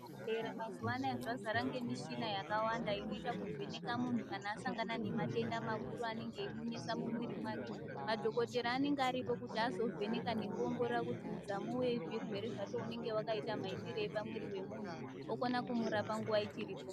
Zvibhedhlera mazuva anaya zvazara michina yakawanda inoita kuvheneka munhu kana asangana nemadenda makuru anenge eimunesa mumwiiri make. Madhogodheyabanenge aripo kuti azovheneka nekuongorora kuti udzamu wezvirwere zvacho unenge wakaita maitirei pamwiiri wemuntu, okona kumurapa nguva ichiripo.